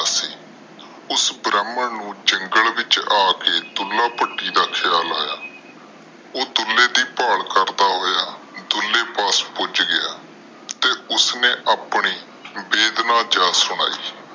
ਉਸ ਬ੍ਰਾਹਮਣ ਨੂੰ ਜੰਗਲ ਵਿਚ ਆ ਕੇ ਦੁੱਲਾ ਭੱਟੀ ਦਾ ਖ਼ਯਾਲ ਆਯਾ ਉਹ ਦੁੱਲੇ ਦੀ ਭਾਲ ਕਰਦਾ ਹੋਇਆ ਦੁੱਲੇ ਪਾਸ ਪੁੱਜ ਗਿਆ ਤੇ ਉਸਨੇ ਆਪਣੀ ਵੇਦਨਾ ਜਾ ਸੁਣਾਈ।